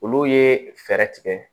Olu ye fɛɛrɛ tigɛ